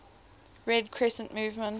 red crescent movement